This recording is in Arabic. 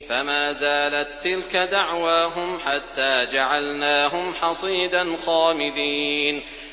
فَمَا زَالَت تِّلْكَ دَعْوَاهُمْ حَتَّىٰ جَعَلْنَاهُمْ حَصِيدًا خَامِدِينَ